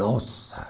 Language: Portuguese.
Nossa!